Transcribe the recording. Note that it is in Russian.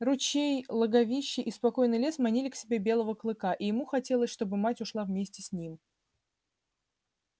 ручей логовище и спокойный лес манили к себе белого клыка и ему хотелось чтобы мать ушла вместе с ним